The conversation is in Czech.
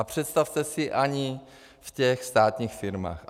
A představte si, ani v těch státních firmách.